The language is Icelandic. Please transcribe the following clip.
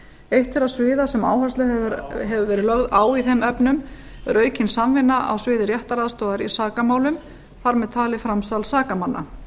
eitt þeirra sviða sem áhersla hefur verið lögð á í þeim efnum er aukin samvinna á sviði réttaraðstoðar í sakamálum þar með talið framsal sakamanna